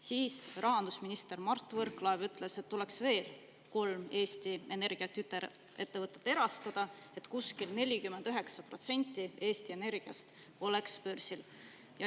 Siis rahandusminister Mart Võrklaev ütles, et tuleks veel kolm Eesti Energia tütarettevõtet erastada, nii et umbes 49% Eesti Energiast oleks börsil.